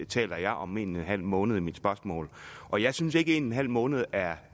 taler jeg om en en halv måned i mit spørgsmål og jeg synes ikke en en halv måned er